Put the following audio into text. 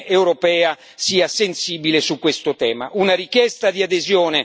Sappiamo quanto l'Unione europea sia sensibile su questo tema.